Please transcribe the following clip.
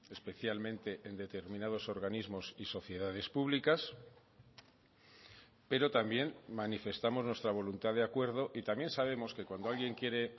especialmente en determinados organismos y sociedades públicas pero también manifestamos nuestra voluntad de acuerdo y también sabemos que cuando alguien quiere